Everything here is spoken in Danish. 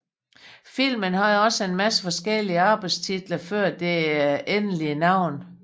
Filmen havde også en masse forskeliige arbejdestitler før det endelige navn